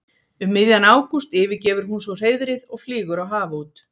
Um miðjan ágúst yfirgefur hún svo hreiðrið og flýgur á haf út.